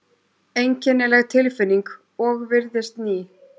Einkennileg tilfinning og virðist ný.